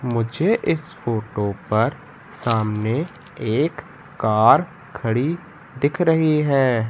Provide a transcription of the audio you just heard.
मुझे इस फोटो पर सामने एक कार खड़ी दिख रही है।